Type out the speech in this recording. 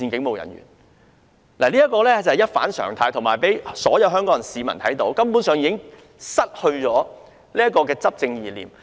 凡此種種，是一反常態的，而且讓所有香港市民看到，政府已失去管治意念。